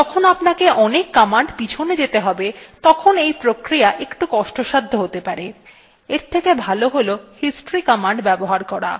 কিন্তু যখন আপনাকে অনেক commands পিছনে যেতে have তখন এই প্রক্রিয়া একটু কষ্টসাধ্য হতে পারে এর থেকে ভালো হল history commands ব্যবহার করা